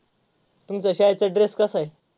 तुमच्या शाळेचा dress कसा आहे?